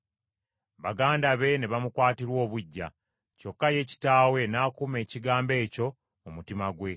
Baganda be ne bamukwatirwa obuggya, kyokka ye kitaabwe n’akuuma ekigambo ekyo mu mutima gwe.